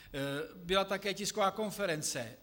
Byla také tisková konference.